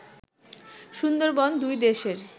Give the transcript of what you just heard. সুন্দরবন দুই দেশের